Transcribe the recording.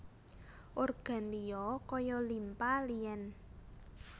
Organ liya kaya limpa lien